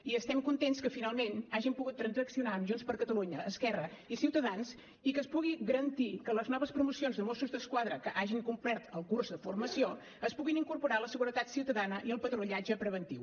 i estem contents que finalment hàgim pogut transaccionar amb junts per catalunya esquerra i ciutadans i que es pugui garantir que les noves promocions de mossos d’esquadra que hagin complert el curs de formació es puguin incorporar a la seguretat ciutadana i el patrullatge preventiu